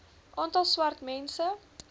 aantal swart mense